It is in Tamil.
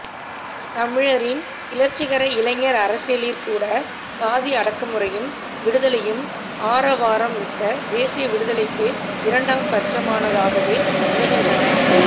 தமிழரின் கிளர்ச்சிகர இளைஞர் அரசியலிற் கூட சாதி அடக்குமுறையும் விடுதலையும் ஆரவாரம் மிக்க தேசிய விடுதலைக்கு இரண்டாம் பட்சமானதாகவே அமைகின்றன